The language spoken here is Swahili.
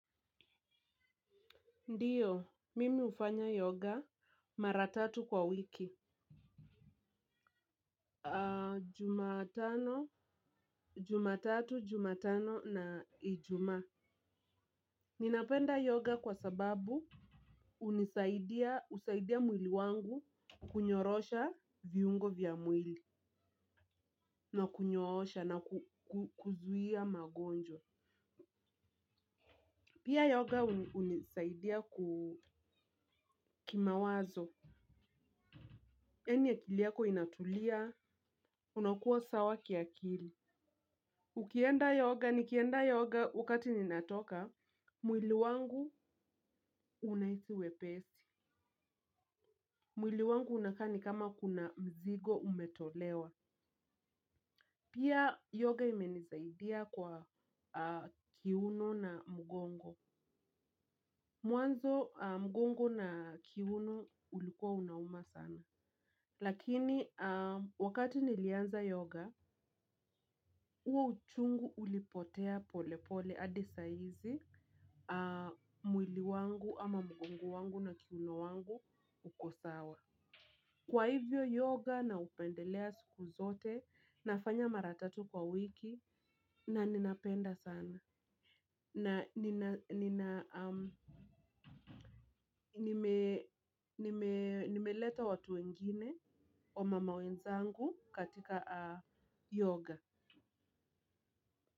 Ndiyo, mimi hufanya yoga mara tatu kwa wiki Jumatano, jumatatu, jumatano na ijuma. Ninapenda yoga kwa sababu hunisaidia mwili wangu kunyorosha viungo vya mwili. Na kunyoosha na kuzuia magonjwa. Pia yoga hunisaidia kukimawazo yani akili yako inatulia. Unakuwa sawa kiakili. Ukienda yoga nikienda yoga wakati ninatoka, mwili wangu unahisi wepesi. Mwili wangu unakani kama kuna mzigo umetolewa. Pia yoga imenisaidia kwa kiuno na mgongo. Mwanzo mgongo na kiuno ulikuwa unauma sana. Lakini wakati nilianza yoga, huo uchungu ulipotea pole pole hadi saizi. Mwili wangu ama mgongo wangu na kiuno wangu uko sawa. Kwa hivyo yoga naupendelea siku zote, nafanya mara tatu kwa wiki na ninapenda sana. Na nina, nina, um, nime, nime, nimeleta watu wengine wamama wenzangu katika yoga.